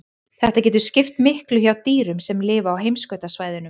Þetta getur skipt miklu hjá dýrum sem lifa á heimskautasvæðunum.